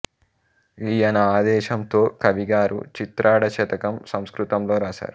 ఈయన ఆదేశం తో కవిగారు చిత్రాడ శతకం సంస్కృతం లో రాశారు